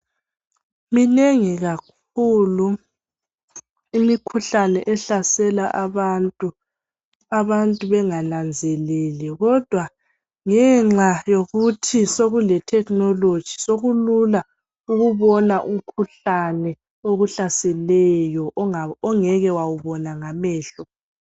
Minengi kakhulu imikhuhlane ehlasela abantu, abantu bengananzeleli kodwa ngenxa yokuthi sokule technology sokulula ukubona umkhuhlane okuhlaseleyo onga ongeke wawubona ngamehlo.